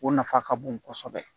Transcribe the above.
O nafa ka bon kosɛbɛ